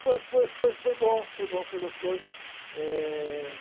Foi, foi, foi, foi bom, foi bom, foi gostoso. É...